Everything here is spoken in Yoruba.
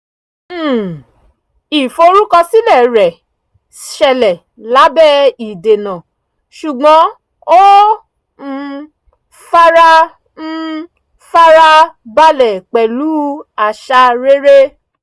um ìforúkọsílẹ̀ rẹ̀ ṣẹlẹ̀ lábẹ́ ìdènà ṣùgbọ́n ó um fara um fara balẹ̀ pẹ̀lú àṣà rere